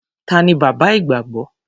Ta ni bàbá ìgbàgbọ́?